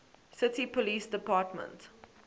city police department